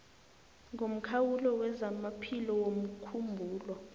ngomkhawulo wezamaphilo womkhumbulo